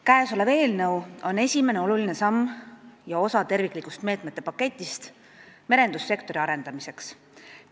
Käesolev eelnõu on esimene oluline samm ja osa terviklikust meetmete paketist merendussektori arendamiseks.